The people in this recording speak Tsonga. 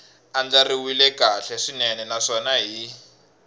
andlariwile kahle swinene naswona hi